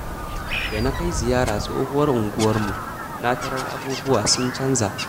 Da na kai ziyara tsohuwar unguwarmu, na tarar abubuwa sun canja.